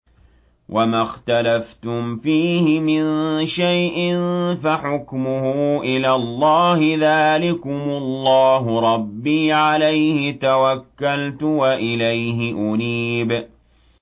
وَمَا اخْتَلَفْتُمْ فِيهِ مِن شَيْءٍ فَحُكْمُهُ إِلَى اللَّهِ ۚ ذَٰلِكُمُ اللَّهُ رَبِّي عَلَيْهِ تَوَكَّلْتُ وَإِلَيْهِ أُنِيبُ